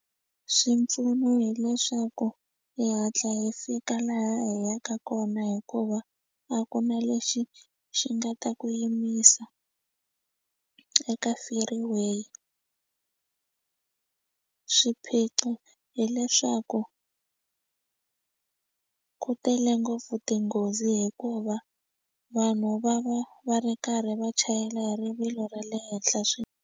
Swipfuno hileswaku hi hatla hi fika laha hi yaka kona hikuva a ku na lexi xi nga ta ku yimisa eka freeway swiphiqo hileswaku ku tele ngopfu tinghozi hikuva vanhu va va va ri karhi va chayela hi rivilo ra le henhla .